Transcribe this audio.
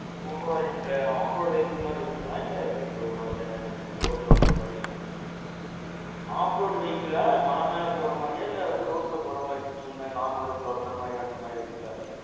Totalஅ off road vehicle மாறி இருக்காங்களா இல்ல எப்பிடி bro அது roadல ஒற்ற மாறி? off road vehicleஆ, மல மேல போற மாரியா இல்ல roadல போற மாறி முன்னே normal road ல ஒற்றை மாறி vehicle?